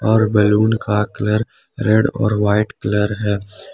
और बैलून का colour red और व्हाइट कलर हैं।